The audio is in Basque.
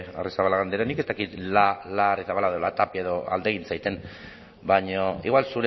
arrizabalaga andrea nik ez dakit la arrizabalaga edo la tapia alde egin baina igual